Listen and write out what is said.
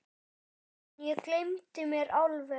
Ástin, ég gleymdi mér alveg!